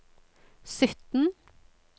sytten